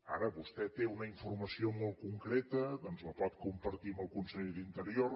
ara vostè té una informació molt concreta doncs la pot compartir amb el conseller d’interior